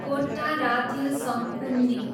Kottarathil Sankunni